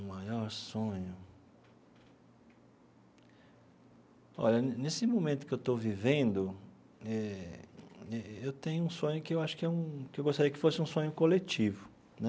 O maior sonho... Olha, nesse momento que eu estou vivendo eh eh, eu tenho um sonho que eu acho que é um que eu gostaria que fosse um sonho coletivo, né?